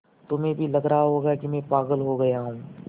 तुम्हें भी लग रहा होगा कि मैं पागल हो गया हूँ